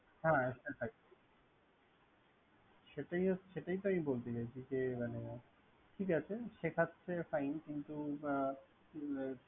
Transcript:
হ্যা সেটাই। সেটাই আমি বলতে চাইছি যে, শেখাচ্ছে fine কিন্ত ।